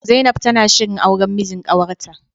Zainab tana shirin auran mijin kawarta.